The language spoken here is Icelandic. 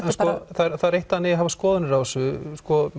það er eitt að hafa skoðanir á þessu